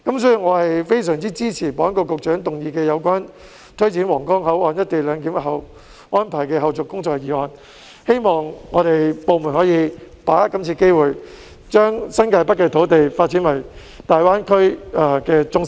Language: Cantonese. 所以，我非常支持保安局局長動議的有關推展皇崗口岸「一地兩檢」安排的後續工作的議案，希望各部門能把握今次機會，將新界北的土地發展為大灣區的中心。